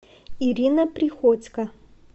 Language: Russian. ирина приходько